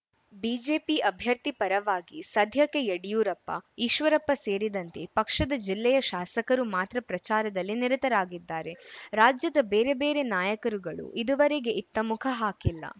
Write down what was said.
BJP ಅಭ್ಯರ್ಥಿ ಪರವಾಗಿ ಸಧ್ಯಕ್ಕೆ ಯಡಿಯೂರಪ್ಪ ಈಶ್ವರಪ್ಪ ಸೇರಿದಂತೆ ಪಕ್ಷದ ಜಿಲ್ಲೆಯ ಶಾಸಕರು ಮಾತ್ರ ಪ್ರಚಾರದಲ್ಲಿ ನಿರತರಾಗಿದ್ದಾರೆ ರಾಜ್ಯದ ಬೇರೆ ಬೇರೆ ನಾಯಕರುಗಳು ಇದುವರೆಗೆ ಇತ್ತ ಮುಖ ಹಾಕಿಲ್ಲ